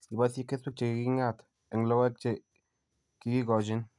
Iboisyee kesweek che ki king'at eng' logoek che ki kigoochin.